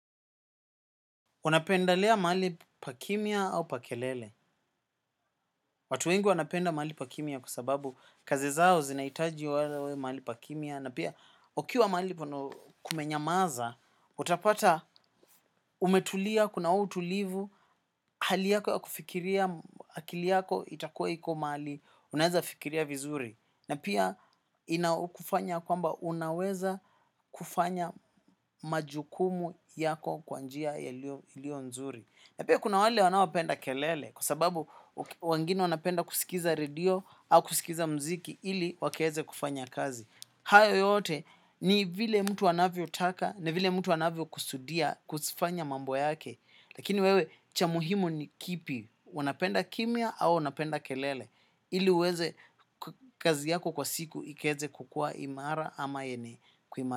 Unapendelea mahali pakimia au pakelele. Watu wengi wanapenda mahali pa kimia kwa sababu kazi zao zinaitaji walawe mahali pakimia na pia ukiwa mahali pana kumenyamaza, utapata umetulia, kuna uutulivu, hali yako ya kufikiria, akili yako itakuwa iko mali, unaeza fikiria vizuri. Na pia ina kufanya ya kwamba unaweza kufanya majukumu yako kwanjia ilio nzuri. Napia kuna wale wanaopenda kelele kwa sababu wengine wanapenda kuskiza radio au kuskiza mziki ili wakeeze kufanya kazi. Hayo yote ni vile mtu wanavyo taka, ni vile mtu anavyo kusudia, kusifanya mambo yake. Lakini wewe cha muhimu ni kipi, unapenda kimia au unapenda kelele ili uweze kazi yako kwa siku ikeeze kukuwa imara ama yene kuima.